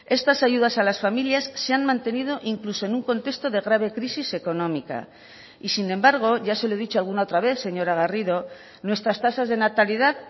estas ayudas a las familias se han mantenido incluso en un contexto de grave crisis económica y sin embargo ya se lo he dicho alguna otra vez señora garrido nuestras tasas de natalidad